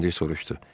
Komandir soruşdu.